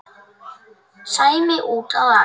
Sæmi úti að aka.